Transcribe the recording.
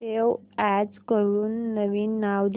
save as करून नवीन नाव दे